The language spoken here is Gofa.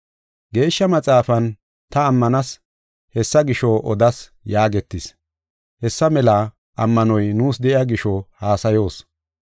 Geeshsha Maxaafan, “Ta ammanas; hessa gisho odas” yaagetis. Hessa mela ammanoy nuus de7iya gisho haasayoos.